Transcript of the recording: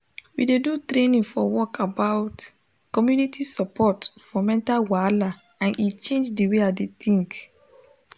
we do training for work about community support for mental wahala and e change the way i dey think